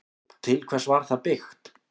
Til hvers var það byggt?